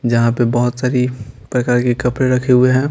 जहां पर बहुत सारी प्रकार के कपड़े रखे हुए हैं।